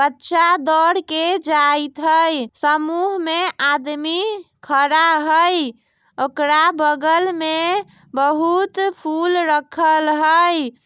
बच्चा दौड़ के जाइत हई समूह में आदमी खड़ा हई ओकरा बगल में बहुत फुल रखल हई।